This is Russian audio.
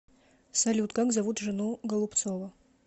салют как зовут жену голубцова